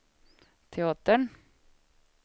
teatern